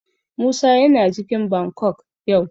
Musa yana cikin Bangkok yau.